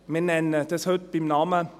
Wir nennen das heute beim Namen: